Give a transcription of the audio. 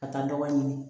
Ka taa dɔgɔ ɲini